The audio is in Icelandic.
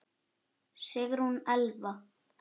Sigrún Elfa.